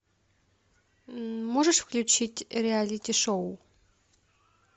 можешь включить реалити шоу